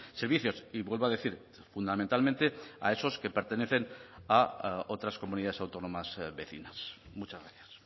servicios y vuelvo a decir fundamentalmente a esos que pertenecen a otras comunidades autónomas vecinas muchas gracias